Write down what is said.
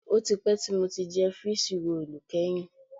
Ó ti pẹ́ tí mo ti jẹ fííṣí roòlù kẹ́yìn